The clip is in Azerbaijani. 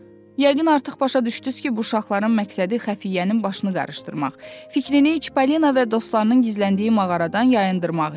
Yəqin artıq başa düşdünüz ki, bu uşaqların məqsədi xəfiyyənin başını qarışdırmaq, fikrini heç Paulina və dostlarının gizləndiyi mağaradan yayındırmaq idi.